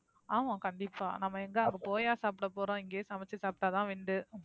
ஆமா கண்டிப்பா நாம எங்கேயாவது போயா சாப்ட போறோம்? இங்கேயே சமைச்சு சாப்டா தான் உண்டு.